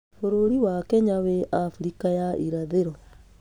Bũrũri wa Kenya wĩ Afrika ya Irathĩro.